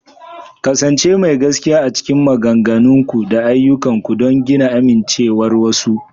ƙasance mai gaskiya a cikin maganganunku da ayyukanku don gina amincewar wasu.